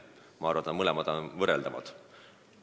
Mõlemad on rasked kuriteod.